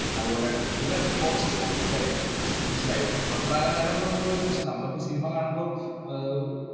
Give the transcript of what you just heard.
അതുപോലെ even costume വരെ. മനസ്സിലായോ. വസ്ത്രാലങ്കാരം എന്ന് പറഞ്ഞിട്ടുള്ള section നമ്മളിപ്പോ cinema കാണുമ്പോ ഏർ